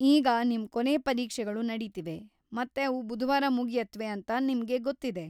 ಈಗ ನಿಮ್‌ ಕೊನೇ ಪರೀಕ್ಷೆಗಳು ನಡೀತಿವೆ ಮತ್ತೆ ಅವು ಬುಧವಾರ ಮುಗಿಯುತ್ವೆ ಅಂತ ನಿಮ್ಗೆ ಗೊತ್ತಿದೆ.